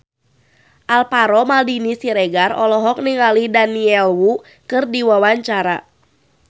Alvaro Maldini Siregar olohok ningali Daniel Wu keur diwawancara